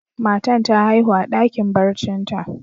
Matan ta haihu a dakin barcin ta.